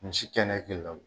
Misi kɛnɛ